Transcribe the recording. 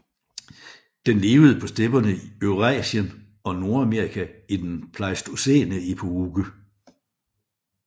Den levede på stepperne i Eurasien og Nordamerika i den pleistocæne epoke